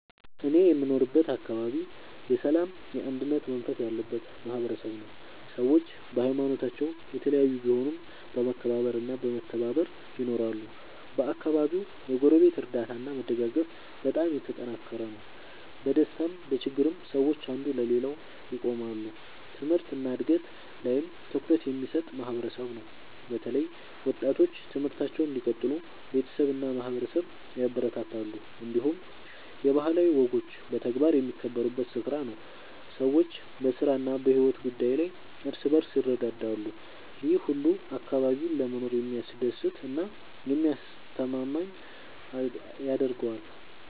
እኔ የምኖርበት አካባቢ የሰላምና የአንድነት መንፈስ ያለበት ማህበረሰብ ነው። ሰዎች በሀይማኖታቸው የተለያዩ ቢሆኑም በመከባበር እና በመተባበር ይኖራሉ። በአካባቢው የጎረቤት እርዳታ እና መደጋገፍ በጣም የተጠናከረ ነው። በደስታም በችግርም ሰዎች አንዱ ለሌላው ይቆማሉ። ትምህርት እና እድገት ላይም ትኩረት የሚሰጥ ማህበረሰብ ነው። በተለይ ወጣቶች ትምህርታቸውን እንዲቀጥሉ ቤተሰብ እና ማህበረሰብ ያበረታታሉ። እንዲሁም የባህላዊ ወጎች በተግባር የሚከበሩበት ስፍራ ነው። ሰዎች በስራ እና በሕይወት ጉዳይ ላይ እርስ በርስ ይረዳዳሉ። ይህ ሁሉ አካባቢውን ለመኖር የሚያስደስት እና የሚያስተማማኝ ያደርገዋል።